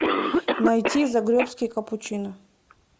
найти загребский капучино